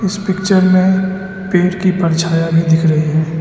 इस पिक्चर मे पेड़ की परछाया भी दिख रही है।